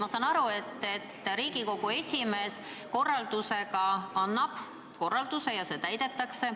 Ma saan aru, et Riigikogu esimees annab korralduse ja see täidetakse.